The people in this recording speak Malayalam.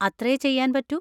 അത്രേ ചെയ്യാൻ പറ്റൂ?